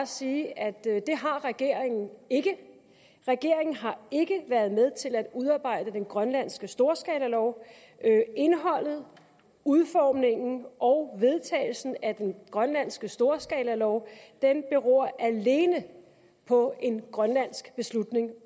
sige at det har regeringen ikke regeringen har ikke været med til at udarbejde den grønlandske storskalalov indholdet udformningen og vedtagelsen af den grønlandske storskalalov beror alene på en grønlandsk beslutning